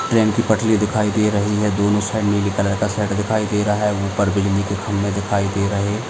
train की पटरी दिखाई दे रही है दोनों साइड नीले कलर का शेड दिखाई दे रहा है ऊपर बिजली के खंबे दिखाई दे रहे --